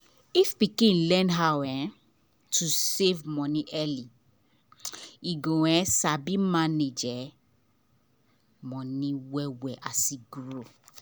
if pikin learn how um to save money early e go um sabi manage um money well well as e grow.